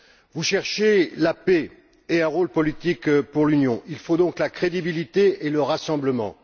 Vous cherchez la paix et un rôle politique pour l'Union, il faut donc la crédibilité et le rassemblement.